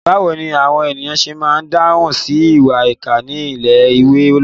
Báwo ni àwọn ènìyàn ṣe máa ń dáhùn sí ìwà ìkà ní ilé-ìwé lónìí?